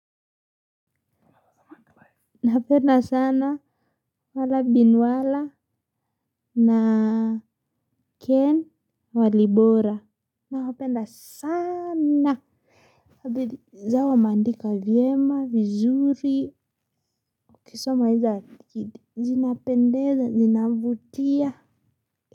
Napenda sana wala binwala na ken walibora nawapenda sana za wameandika vyema vizuri ukisoma izo zinapendeza zinavutia.